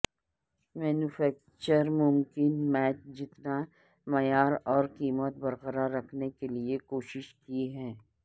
manufacturers ممکن میچ جتنا معیار اور قیمت برقرار رکھنے کے لئے کوشش کی ہے